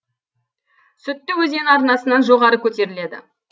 сүтті өзен арнасынан жоғары көтеріледі